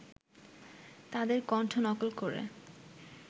তাদের কণ্ঠ নকল করে